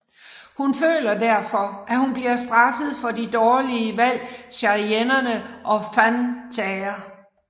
Hun føler derfor at hun bliver straffet for de dårlige valg Cheyenne og Van tager